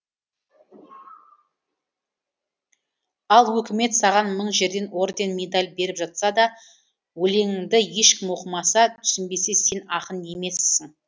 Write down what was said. ал өкімет саған мың жерден орден медаль беріп жатса да өлеңіңді ешкім оқымаса түсінбесе сен ақын емессің